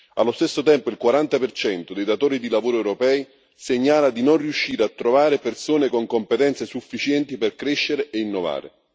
Allo stesso tempo, il 40 dei datori di lavoro europei segnala di non riuscire a trovare persone con competenze sufficienti per crescere e innovare.